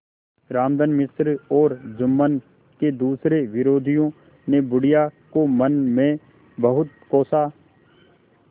रामधन मिश्र और जुम्मन के दूसरे विरोधियों ने बुढ़िया को मन में बहुत कोसा